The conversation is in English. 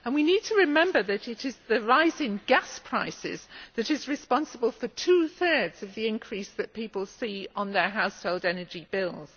We need to remember that it is the rise in gas prices that is responsible for two thirds of the increase that people see on their household energy bills.